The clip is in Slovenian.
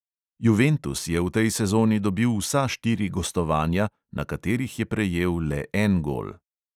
Juventus je v tej sezoni dobil vsa štiri gostovanja, na katerih je prejel le en gol.